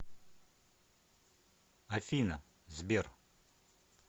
афина сбер